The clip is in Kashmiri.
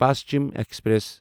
پشچم ایکسپریس